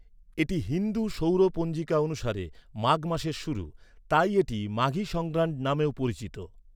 এটি হিন্দু সৌর পঞ্জিকা অনুসারে মাঘ মাসের শুরু, তাই এটি 'মাঘী সংগ্রান্ড' নামেও পরিচিত।